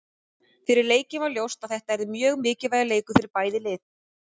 Fyrir leikinn var ljóst að þetta yrði mjög mikilvægur leikur fyrir bæði lið.